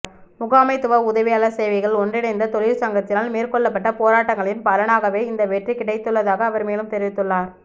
முகாமைத்துவ உதவியாளர் சேவைகள் ஒன்றிணைந்த தொழிற் சங்கத்தினால் மேற்கொள்ளப்பட்ட போராட்டங்களின் பலனாகவே இந்த வெற்றி கிடைத்துள்ளதாக அவர் மேலும் தெரிவித்துள்ளார்